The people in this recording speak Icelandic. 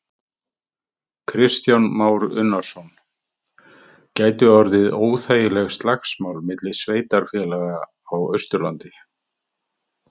Kristján Már Unnarsson: Gætu orðið óþægileg slagsmál milli sveitarfélaga á Austurlandi?